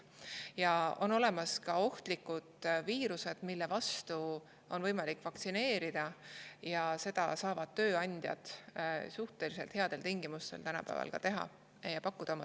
Aga on olemas ka ohtlikud viirused, mille vastu on võimalik vaktsineerida, ja seda saavad tööandjad tänapäeval suhteliselt headel tingimustel oma töötajatele pakkuda.